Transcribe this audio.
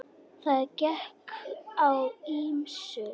Það gekk á ýmsu.